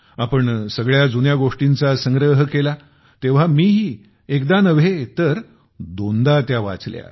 आपण सगळ्या जुन्या गोष्टीचा संग्रह केला तेव्हा मीही एकदा नव्हे तर दोनदा त्या वाचल्या